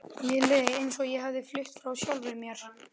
Mér leið eins og ég hefði flutt frá sjálfri mér.